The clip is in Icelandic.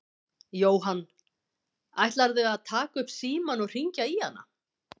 Jóhann: Ætlarðu að taka upp símann og hringja í hana?